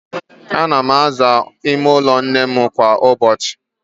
Ạna m aza ime ụlọ nnem kwa ụbọchị